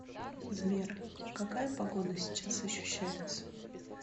сбер какая погода сейчас ощущается